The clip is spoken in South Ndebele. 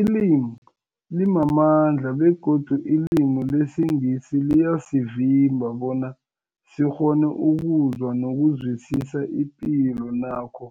Ilimi limamandla begodu ilimi lesiNgisi liyasivimba bona sikghone ukuzwa nokuzwisisa ipilo nakho